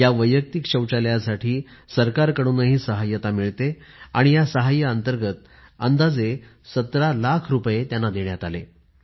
या वैयक्तिक शौचालयासाठी सरकारकडूनही सहाय्य्यता मिळते आणि या सहाय्यांतर्गत अंदाजे १७ लाख रुपये त्यांना देण्यात आले